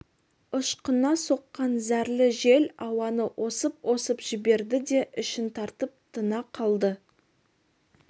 ышқына соққан зәрлі жел ауаны осып-осып жіберді де ішін тартып тына қалды